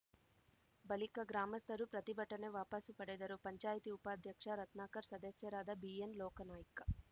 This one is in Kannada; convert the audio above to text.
ಬಳಿಕ ಗ್ರಾಮಸ್ಥರು ಪ್ರತಿಭಟನೆ ವಾಪಾಸು ಪಡೆದರು ಪಂಚಾಯಿತಿ ಉಪಾಧ್ಯಕ್ಷ ರತ್ನಾಕರ್ ಸದಸ್ಯರಾದ ಬಿಎನ್‌ ಲೋಕಾನಾಯ್ಕ